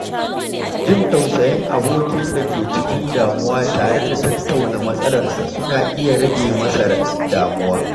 Jin tausayin abokin da ke cikin damuwa tare da tattauna matsalarsa suna iya rage masa damuwa.